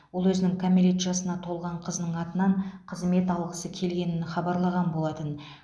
ол өзінің кәмелет жасына толған қызының атынан қызмет алғысы келгенін хабарлаған болатын